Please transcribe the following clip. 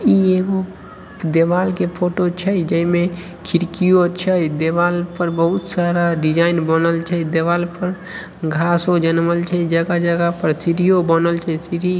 ई एगो दीवाल के फोटो छै जेई में खिड़कियों छै। देवाल पर बहुत सारा डिजाइन बनल छै। देवाल पर घासो जनमल छै। जगह-जगह पर सीढ़ियों बनल छै। सीढ़ी--